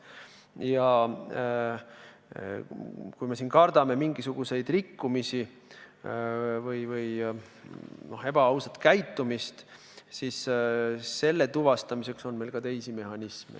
Ja kui me kardame siin mingisuguseid rikkumisi või ebaausat käitumist, siis nende tuvastamiseks on meil ka teisi mehhanisme.